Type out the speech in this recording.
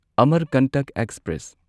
Amarkantak express